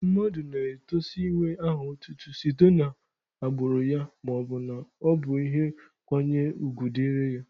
Mmadụ na-etosi inwe aha otutu site n'agbụrụ ya maọbụ na ọ bụ ihe nkwanye ugwu dịrị ya.